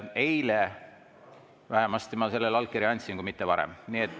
Eile vähemasti ma sellele allkirja andsin, kui mitte varem.